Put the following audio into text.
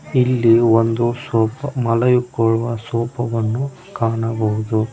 ಇಲ್ಲಿ ಒಂದು ಸೋಫಾ ಮಲಗಿಕೊಳ್ಳುವ ಸೋಫಾ ವನ್ನು ಕಾಣಬಹುದು.